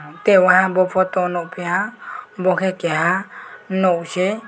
ang tei waha bo photo nogpiha abo ke keha nog si.